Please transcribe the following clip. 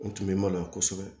N tun bɛ maloya kosɛbɛ